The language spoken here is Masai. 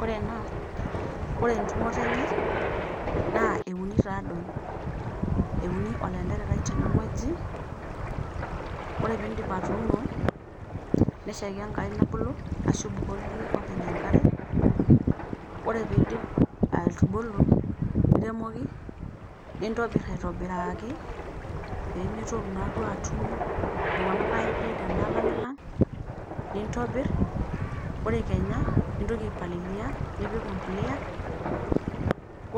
Ore ena, ore entumoto enye naa eunii taadei. Euni olantererai tene wueji, ore pee indip atuuno, neshaiki enkai nebulu, ashu ibukoki iyie openy enkare, ore pee eidip atubulu, niremoki , nintobir aitobiraaki pee metoyu naaduo atum iltung'ana aidiid ashu alang'lang', nintobir, ore Kenya nintoki aipalilia nipik empolea.